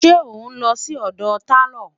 ṣé onlo Si odò talo?